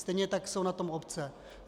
Stejně tak jsou na tom obce.